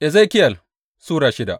Ezekiyel Sura shida